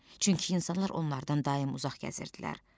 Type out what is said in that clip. Çünki insanlar onlardan daim uzaq gəzirdilər.